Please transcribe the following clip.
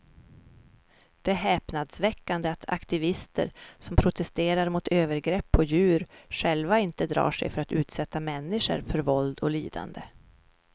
Det är häpnadsväckande att aktivister som protesterar mot övergrepp på djur själva inte drar sig för att utsätta människor för våld och lidande.